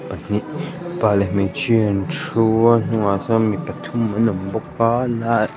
pahnih mipa leh hmeichhia an thu a hnungah sawn mi pathum an awm bawk a na--